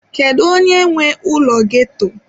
Kedu onye nwe ụlọ ghetto?